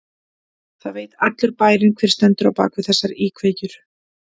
Það veit allur bærinn hver stendur á bak við þessar íkveikjur.